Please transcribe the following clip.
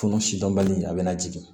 Furu sidɔnbali a bɛna jigin